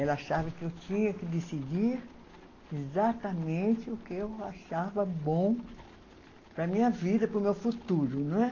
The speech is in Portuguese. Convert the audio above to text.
Ela achava que eu tinha que decidir exatamente o que eu achava bom para a minha vida, para o meu futuro, não é?